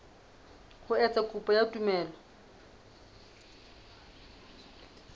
ho etsa kopo ya tumello